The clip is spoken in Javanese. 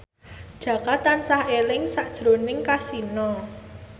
Jaka tansah eling sakjroning Kasino